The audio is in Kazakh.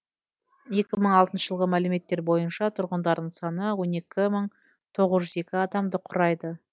екі мың алтыншы жылғы мәліметтер бойынша тұрғындарының саны он екі мың тоғыз жүз екі адамды құрайды